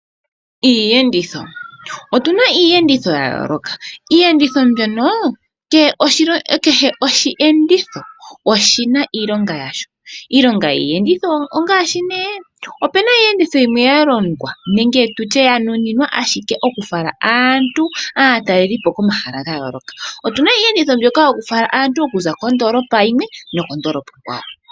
Iiyenditho, otuna iiyenditho yayooloka. Iiyenditho mbyono kehe osheenditho oshina iilonga yasho. Iilongo yiiyenditho ongaashi ne opuna iiyenditho yimwe yalongwa nenge tutye yanuninwa ashike oku fala aantu , aatalelipo komahala gayooloka. Otuna iiyenditho mbyoka yokufala aantu okuza kondoolopa yimwe nokondoolopa onkwawo.